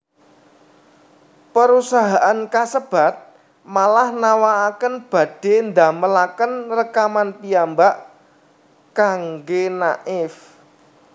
Perusahaan kasebat malah nawakaken badhe ndamelaken rekaman piyambak kangge Naif